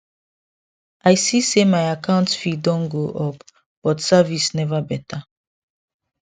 i see say my account fee don go up but service never better